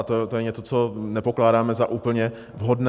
A to je něco, co nepokládáme za úplně vhodné.